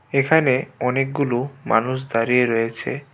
এখানে অনেকগুলো মানুষ দাঁড়িয়ে রয়েছে।